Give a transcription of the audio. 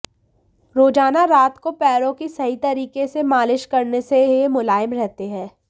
रोजाना रात को पैरों की सही तरीके से मालिश करने से ये मुलायम रहते हैं